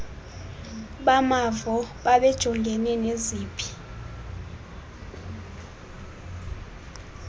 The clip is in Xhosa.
bamavo babejongene neziphi